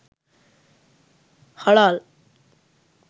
halal